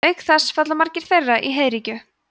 auk þess falla margir þeirra í heiðríkju